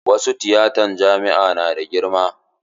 Wasu tiyatan jami'a na da girma.